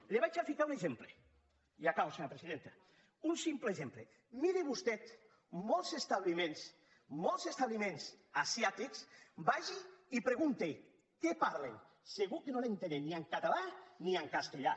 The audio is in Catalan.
li’n ficaré un exemple i acabo senyora presidenta un simple exemple miri vostè molts establiments asiàtics vagi hi i pregunti què parlen segur que no l’entenen ni en català ni en castellà